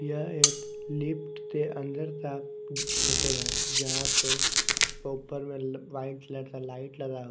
यह एक लिफ्ट के अंदर का फोटो है जहां पे प्रॉपर में व्हाइट कलर का लाइट लगा--